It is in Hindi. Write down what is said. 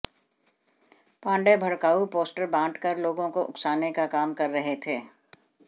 पांडेय भड़काऊ पोस्टर बाँट कर लोगों को उकसाने का काम कर रहे थे